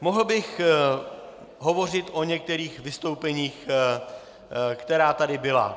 Mohl bych hovořit o některých vystoupeních, která tady byla.